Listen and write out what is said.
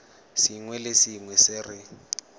sengwe le sengwe se re